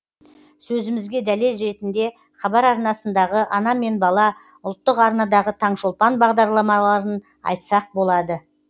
сөзімізге дәлел ретінде хабар арнасындағы ана мен бала ұлттық арнадағы таңшолпан бағдарламаларын айтсақ болады